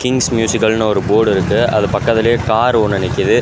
Kings மியூசிக்கல்னு ஒரு board இருக்கு அது பக்கத்திலேயே கார் ஒன்னு நிக்குது.